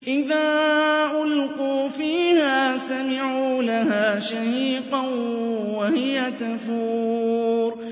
إِذَا أُلْقُوا فِيهَا سَمِعُوا لَهَا شَهِيقًا وَهِيَ تَفُورُ